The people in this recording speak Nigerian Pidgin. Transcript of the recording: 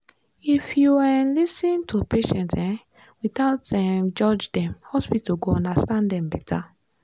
if you um lis ten to patient um without um judge dem hospital go understand dem better.